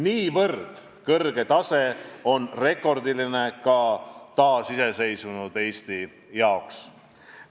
Nii kõrge tase on rekordiline ka taasiseseisvunud Eesti jaoks.